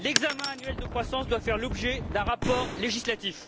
L'examen annuel de croissance doit faire l'objet d'un rapport législatif.